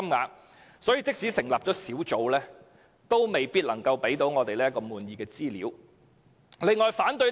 由此可見，即使成立小組委員會，亦無法提供令市民滿意的資料。